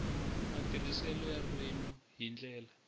matirhiselo ya ririmi hi ndlela